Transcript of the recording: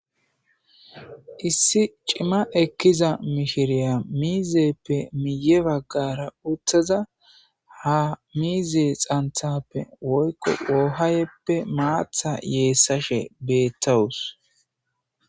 Issi c'mma ekkiza mishriya miizayppe miyye baggara uttada ha miizay xanthappe woyko ohayepe mmaatha yeessashe beettawus.